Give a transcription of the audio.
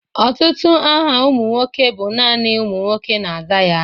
Ọtụtụ aha ụmụ nwoke bụ nani ụmụ nwoke na-aza ya.